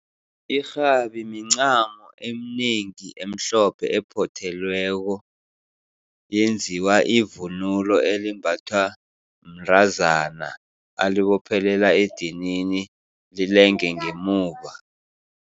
Irhabi mincamo eminengi emhlophe, ephothelweko, yenziwa ivunulo elimbathwa mntazana alibophelela edinini lilange ngemuva.